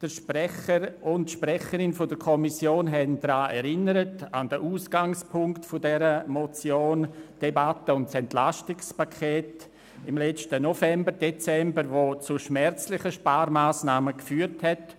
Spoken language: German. Der Sprecher und die Sprecherin der Kommission haben an den Ausgangspunkt der Motion erinnert: an die Debatte von letztem November und Dezember zum EP, das zu schmerzlichen Sparmassnahmen geführt hat.